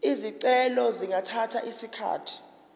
izicelo zingathatha isikhathi